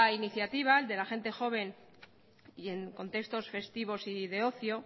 iniciativa el de la gente joven y en contexto festivos y de ocio